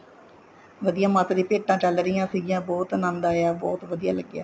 ਵਧੀਆ ਮਾਤਾ ਦੀਆ ਭੇਟਾਂ ਚੱਲ ਰਹੀਆਂ ਸੀਗੀਆਂ ਬਹੁਤ ਅਨੰਦ ਆਇਆ ਬਹੁਤ ਵਧੀਆ ਲੱਗਿਆ